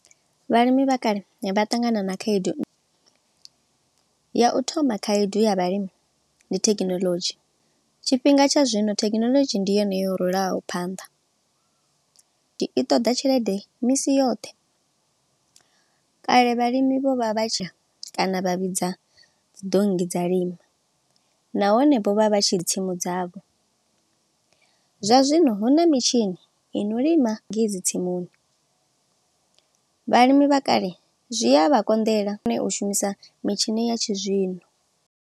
Vhalimi vha kale vha ṱangana na khaedu, ya u thoma khaedu ya vhalimi ndi thekinoḽodzhi. Tshifhinga tsha zwino thekinoḽodzhi ndi yone yo rulaho phanḓa, i ṱoḓa tshelede misi yoṱhe. Kale vhalimi vho vha vha tshi kana vha vhidza dzi donngi dza lima, nahone vho vha vha tshi tsimu dzavho. Zwa zwino hu na mitshini ino lima ngei dzitsimuni. Vhalimi vha kale zwi a vha konḓela, u shumisa mitshini ya tshizwino.